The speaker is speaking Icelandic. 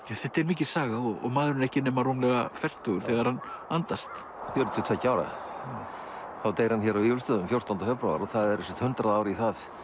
þetta er mikil saga og maðurinn ekki nema rúmlega fertugur þegar hann andast fjörutíu og tveggja ára þá deyr hann hér á Vífilsstöðum fjórtánda febrúar og það eru sem sagt hundrað ár í það